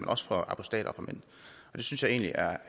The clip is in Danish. også for apostater og for mænd det synes jeg egentlig er